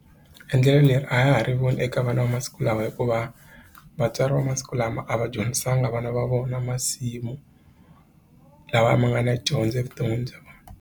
Endlelo leri a ya ha ri voni eka vana va masiku lawa hikuva vatswari va masiku lama a va dyondzisanga vana va vona masimu lawa ma nga na dyondzo evuton'wini bya.